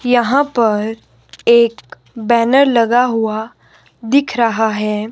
यहाँ पर एक बॅनर लगा हुआ दिख रहा है।